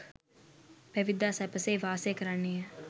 පැවිද්දා සැපසේ වාසය කරන්නේය.